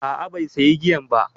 A'a bai sayi giyan ba.